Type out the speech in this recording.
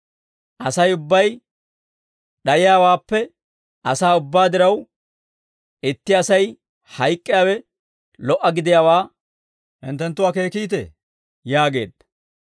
Asay ubbay d'ayiyaawaappe asaa ubbaa diraw, itti Asay hayk'k'iyaawe lo"a gidiyaawaa hinttenttu akeekite?» yaageedda.